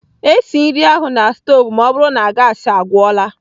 Esi nri ahụ na stovu ma ọ bụrụ na gaasị agwụla!